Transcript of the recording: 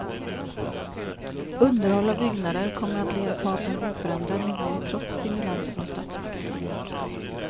Underhåll av byggnader kommer att ligga kvar på en oförändrad nivå trots stimulanser från statsmakterna.